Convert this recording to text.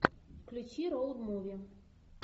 включи роуд муви